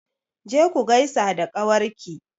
Je ku gaisa da ƙawar ki!